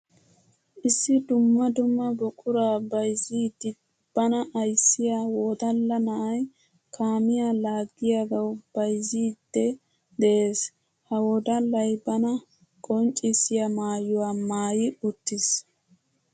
Issi dumma dumma buqura bayzziddi bana ayssiya wodalla na'ay kaamiya laagiyagawu bayzzidde de'ees. Ha wodallay bana qonccissiya maayuwa maayi uttiis.